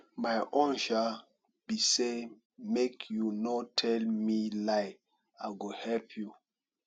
my own um be say make you no tell me lie i go help you